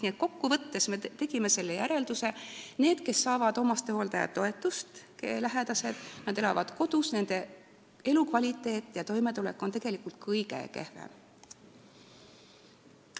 Nii et kokkuvõtteks tegime järelduse: nendel, kelle lähedased saavad hooldajatoetust ja kes elavad kodus, on elukvaliteet ja toimetulek tegelikult kõige kehvem.